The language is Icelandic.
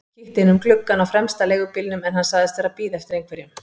Kíkti inn um gluggann á fremsta leigubílnum en hann sagðist vera að bíða eftir einhverjum.